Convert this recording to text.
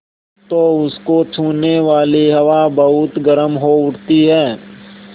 तो उसको छूने वाली हवा बहुत गर्म हो उठती है